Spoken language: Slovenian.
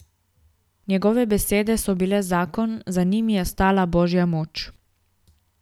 Njegove besede so bile zakon, za njimi je stala božja moč.